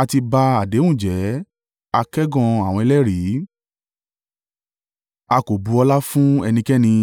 A ti ba àdéhùn jẹ́, a kẹ́gàn àwọn ẹlẹ́rìí, a kò bu ọlá fún ẹnikẹ́ni.